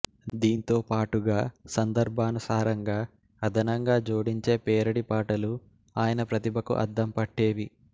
దీంతోపాటుగా సందర్భానుసారంగా అదనంగా జోడించే పేరడీ పాటలు ఆయన ప్రతిభకు అద్దం పట్టేవి